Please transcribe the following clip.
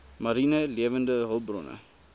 mariene lewende hulpbronne